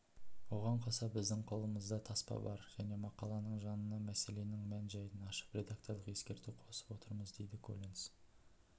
оған қоса біздің қолымызда таспа бар және мақаланың жанына мәселенің мән-жайын ашып редакторлық ескерту қосып отырмыз дейді коллинс